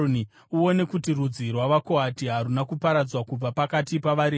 “Uone kuti rudzi rwavaKohati haruna kuparadzwa kubva pakati pavaRevhi.